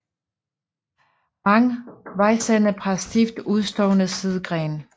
Rank vejsennep har stift udstående sidegrene